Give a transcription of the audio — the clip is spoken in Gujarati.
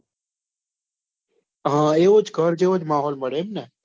હા એવો જ ઘર જેવો જ માહોલ મળે એમ ને?